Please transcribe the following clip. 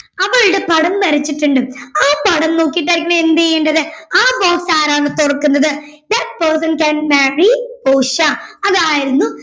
അവളുടെ പടം വരച്ചിട്ടുണ്ട് ആ പടം നോക്കിട്ടായിരിക്കണം എന്ത് ചെയ്യണ്ടത് ആ box ആരാണോ തുറക്കുന്നത് that person can marry portia അതായിരുന്നു